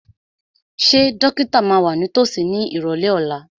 Ṣé dókítà máa wà ní tòsí ní ìrọ̀lẹ́ ọ̀la?